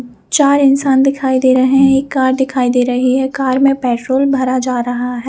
चार इंसान दिखाई दे रहे है एक कार दिखाई दे रहे है कार में पेट्रोल भरा जा रहा है।